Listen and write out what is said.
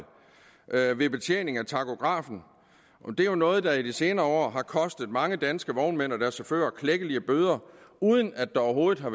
ved ved betjening af tachografen det er jo noget der i de senere år har kostet mange danske vognmænd og deres chauffører klækkelige bøder uden at der overhovedet har